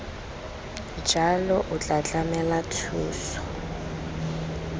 jalo o tla tlamela thuso